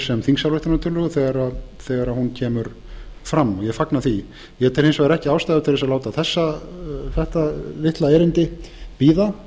sem þingsályktunartillögu þegar hún kemur fram ég fagna því ég tel hins vegar ekki ástæðu til þess að láta þetta litla erindi bíða